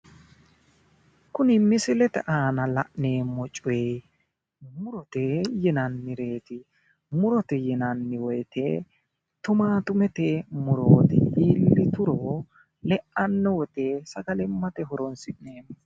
Kuni misilete aana la'neemmo coyi murote yinannireeti, murote yinanni woyiite tumaattumete murooti iillituro le'anno wote sagallimmate horonsi'neemmo.